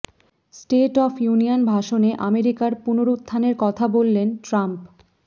state of union ভাষণে আমেরিকার পুনরুত্থানের কথা বললেন ট্রাম্প